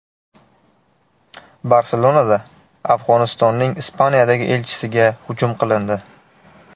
Barselonada Afg‘onistonning Ispaniyadagi elchisiga hujum qilindi.